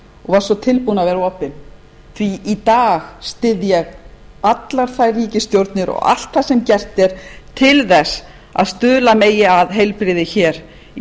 og var svo tilbúin að vera opin því í dag styð ég allar þær ríkisstjórnir og allt það sem gert er til þess að stuðla megi að heilbrigði hér í